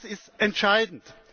Das ist entscheidend.